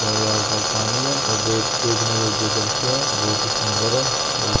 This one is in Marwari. ये आसपास पानी है और गेट देखने योग्य दृश्य है बहोत ही सुन्दर है बहुत ही --